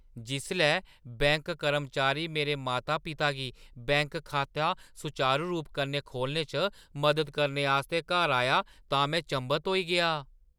जिसलै बैंक कर्मचारी मेरे माता-पिता गी बैंक खाता सुचारू रूप कन्नै खोह्‌लने च मदद करने आस्तै घर आया तां में चंभत होई गेआ।